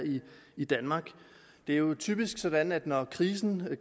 i danmark det er jo typisk sådan at når krisen